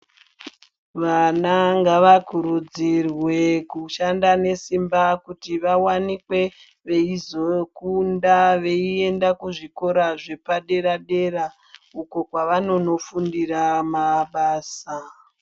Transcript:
Vana ngavakurudzirwe kushanda nesimba kuti vawanikwe veizokunda veienda kuzvikora zvepadera dera uko kwavanonofundira mabasa.